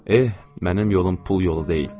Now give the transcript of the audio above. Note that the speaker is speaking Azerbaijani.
Eh, mənim yolum pul yolu deyil.